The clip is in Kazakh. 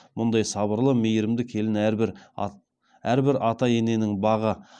мұндаи сабырлы меи ірімді келін әрбір ата ененің бағы